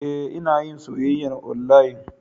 E, Ina yin soyyayar onlayin.